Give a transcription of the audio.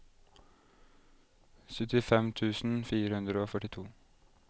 syttifem tusen fire hundre og førtito